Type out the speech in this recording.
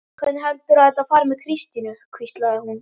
Hvernig heldurðu að þetta fari með Kristínu? hvíslaði hún.